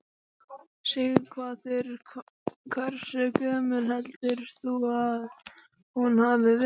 Sighvatur: Hversu gömul heldur þú að hún hafi verið?